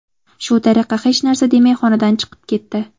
Shu tariqa hech narsa demay xonadan chiqib ketdi.